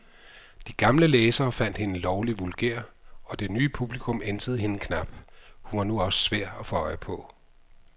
De gamle læsere fandt hende lovlig vulgær, og det nye publikum ænsede hende knap, hun var nu også svær at få øje på.